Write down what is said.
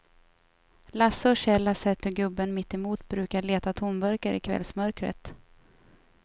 Lasse och Kjell har sett hur gubben mittemot brukar leta tomburkar i kvällsmörkret.